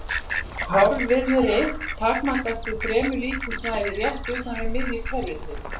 Fárviðrið takmarkast við fremur lítið svæði rétt utan við miðju kerfisins.